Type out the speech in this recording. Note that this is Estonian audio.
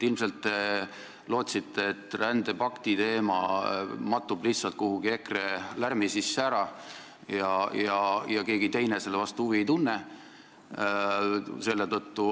Ilmselt te lootsite, et rändepakti teema mattub lihtsalt kuhugi EKRE lärmi sisse ära ja keegi teine seetõttu selle vastu huvi ei tunne.